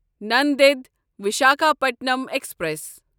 Nanded Visakhapatnam express